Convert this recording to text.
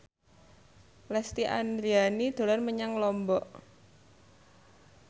Lesti Andryani dolan menyang Lombok